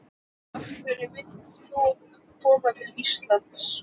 Jóhann: Af hverju vildir þú koma til Íslands?